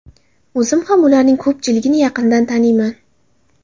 O‘zim ham ularning ko‘pchiligini yaqindan taniyman.